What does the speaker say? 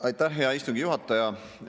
Aitäh, hea istungi juhataja!